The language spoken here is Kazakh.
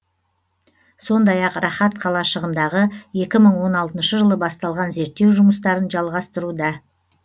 сондай ақ рахат қалашығындағы екі мың он алтыншы жылы басталған зерттеу жұмыстарын жалғастыруда